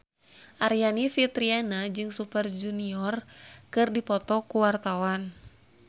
Aryani Fitriana jeung Super Junior keur dipoto ku wartawan